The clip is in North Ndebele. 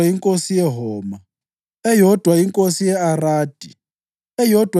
inkosi yeHoma, eyodwa inkosi ye-Aradi, eyodwa